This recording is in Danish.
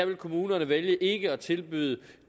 vil kommunerne vælge ikke at tilbyde